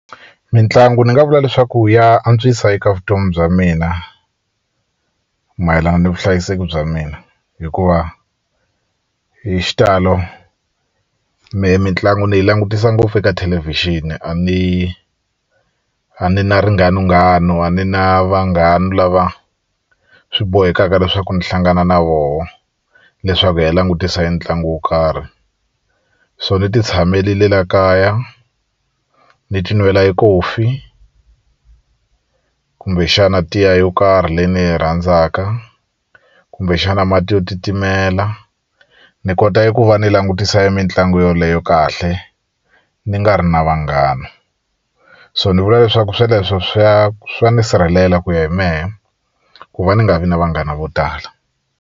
Mitlangu ni nga vula leswaku ya antswisa eka vutomi bya mina mayelana ni vuhlayiseki bya mina hikuva hi xitalo mina mitlangu ni yi langutisa ngopfu eka thelevhixini a ni a ni na ringhanunghanu a ni na vanghana lava swi bohekaka leswaku ni hlangana na vona leswaku hi ya langutisa e ntlangu wo karhi so ni ti tshamerile la kaya ni ti nwela e Coffee kumbexana tiya yo karhi leyi ni yi rhandzaka kumbexana mati yo titimela ni kota ku va ni langutisa mitlangu yoleyo kahle ni nga ri na vanghana so ni vula leswaku sweleswo swa swa ni sirhelela ku ya hi mehe ku va ni nga vi na vanghana vo tala.